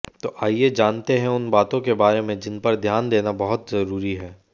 तो आइये जानते हैं उन बातों के बारे में जिनपर ध्यान देना बहुत जरूरी हैं